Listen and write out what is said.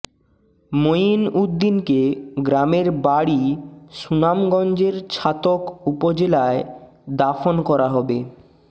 মঈন উদ্দীনকে গ্রামের বাড়ি সুনামগঞ্জের ছাতক উপজলায় দাফন করা হবে